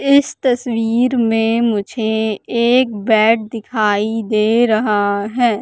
इस तस्वीर में मुझे एक बेड दिखाई दे रहा है।